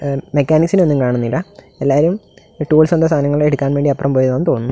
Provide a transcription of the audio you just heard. Mechanics ഒന്നും കാണുന്നില്ല എല്ലാരും ടൂൾസ് എന്തോ എടുക്കാൻ വേണ്ടി അപ്പുറം പോയതാണെന്ന് തോന്നുന്നു.